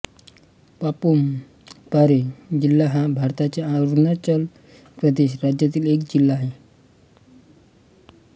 पापुम पारे जिल्हा हा भारताच्या अरुणाचल प्रदेश राज्यातील एक जिल्हा आहे